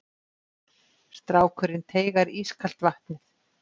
Strákurinn teygar ískalt vatnið.